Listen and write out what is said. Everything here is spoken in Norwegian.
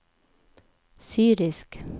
syrisk